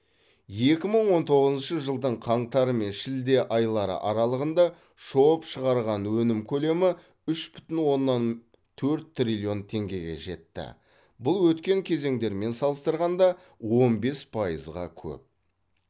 екі мың он тоғызыншы жылдың қаңтары мен шілде айлары аралығында шоб шығарған өнім көлемі үш бүтін оннан төрт триллион теңгеге жетті бұл өткен кезеңдермен салыстырғанда он бес пайызға көп